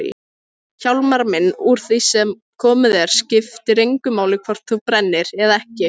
Hjálmar minn, úr því sem komið er skiptir engu máli hvort þú brennir eða ekki.